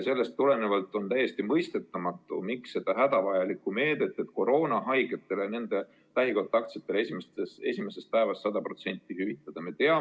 Sellest tulenevalt on täiesti mõistetamatu, miks ei kasutata seda hädavajalikku meedet, et koroonahaigetele ja nende lähikontaktsetele esimesest päevast alates 100% hüvitada.